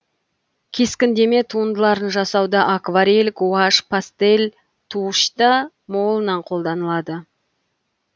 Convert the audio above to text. кескіндеме туындыларын жасауда акварель гуашь пастель тушь та молынан қолданылады